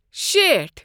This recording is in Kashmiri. شیٹھ